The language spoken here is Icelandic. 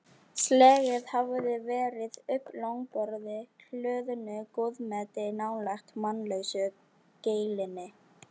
Slegið hafði verið upp langborði hlöðnu góðmeti nálægt mannlausu geilinni.